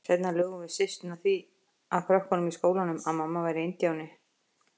Seinna lugum við systurnar því að krökkunum í skólanum að mamma væri indíáni.